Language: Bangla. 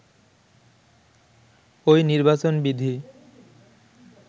ঐ নির্বাচন বিধি